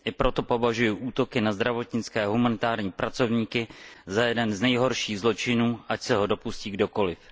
I proto považuji útoky na zdravotnické a humanitární pracovníky za jeden z nejhorších zločinů, ať se ho dopustí kdokoliv.